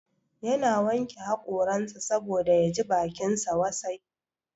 Ya na wanke hakoransa saboda ya ji bakinsa wasai